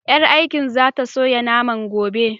Ƴar aikin za ta soya naman gobe.